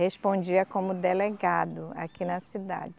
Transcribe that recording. Respondia como delegado aqui na cidade.